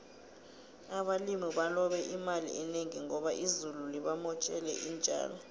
abalimi balobe imali enengi ngoba izulu libamotjele intjalo